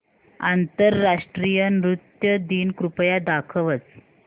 आंतरराष्ट्रीय नृत्य दिन कृपया दाखवच